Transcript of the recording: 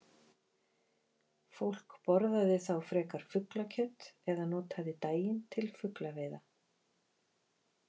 Fólk borðaði þá frekar fuglakjöt eða notaði daginn til fuglaveiða.